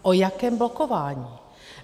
O jakém blokování?